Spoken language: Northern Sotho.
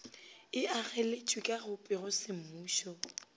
e ageletšwe ka go pegosemmušo